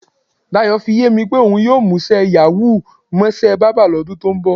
Dayò̩ fi yé mi pé òun yóò mús̩é̩ yàwúù mó̩s̩é̩ bábà ló̩dún tó ń bò̩.